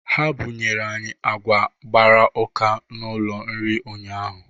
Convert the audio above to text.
Ha bụnyere anyị agwa gbara ụka n'ụlọ nri ụnyaahụ